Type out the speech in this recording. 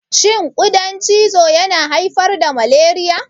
Shin ƙudan cizo yana haifar da malariya?